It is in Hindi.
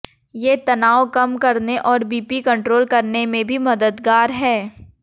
ये तनाव कम करने और बीपी कंट्रोल करने में भी मददगार हैं